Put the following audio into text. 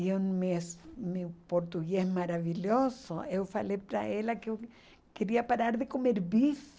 E o mes meu português maravilhoso, eu falei para ela que eu queria parar de comer bife.